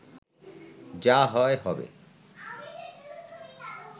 যা হয় হবে